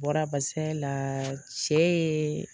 Bɔra barisa la cɛ ye